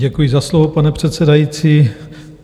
Děkuji za slovo, pane předsedající.